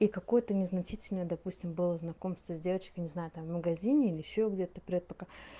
и какое-то незначительное допустим было знакомство с девочкой не знаю там в магазине или ещё где-то привет пока